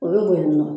O bɛ bo yen nɔ